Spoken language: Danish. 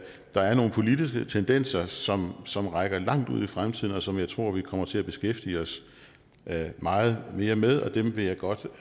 der er nogle politiske tendenser som som rækker langt ud i fremtiden og som jeg tror vi kommer til at beskæftige os meget mere med og dem vil jeg godt